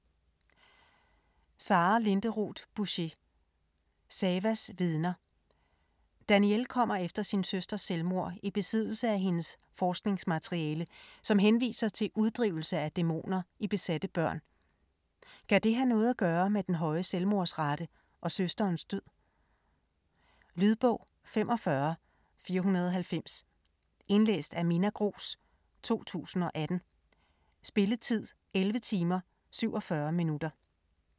Bouchet, Sara Linderoth: Savas vidner Danielle kommer efter sin søsters selvmord i besiddelse af hendes forskningsmateriale, som henviser til uddrivelse af dæmoner i besatte børn. Kan det have noget at gøre med den høje selvmordsrate og søsterens død? Lydbog 45490 Indlæst af Minna Grooss, 2018. Spilletid: 11 timer, 47 minutter.